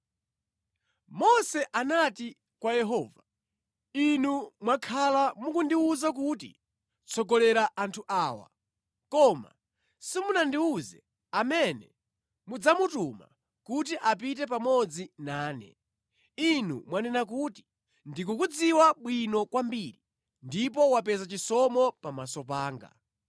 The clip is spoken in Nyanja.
Mose anati kwa Yehova, “Inu mwakhala mukundiwuza kuti, ‘Tsogolera anthu awa,’ koma simunandiwuze amene mudzamutuma kuti apite pamodzi nane. Inu mwanena kuti, ‘Ndikukudziwa bwino kwambiri ndipo wapeza chisomo pamaso panga.’